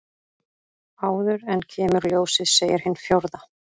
Áður en kemur ljósið segir hin fjórða.